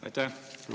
Aitäh!